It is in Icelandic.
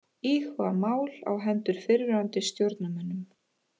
Íhuga mál á hendur fyrrverandi stjórnarmönnum